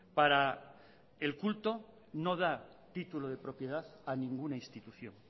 para el culto no da título de propiedad a ninguna institución